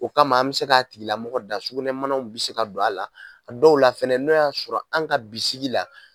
O kama an mi se ka a tigila mɔgɔ da sukunɛmanaw bi se ka don a la, a dɔw la fɛnɛ n'o y'a sɔrɔ an ka bisigi la